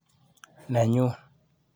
Nenyuu.